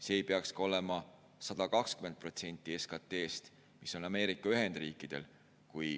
See ei peaks olema ka 120% SKT‑st, nagu on Ameerika Ühendriikidel.